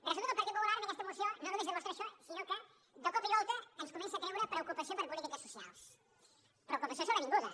resulta que el partit popular amb aquesta moció no només demostra això sinó que de cop i volta ens comença a treure preocupació per polítiques socials preocupació sobrevinguda